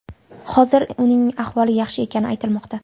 Hozirda uning ahvoli yaxshi ekani aytilmoqda.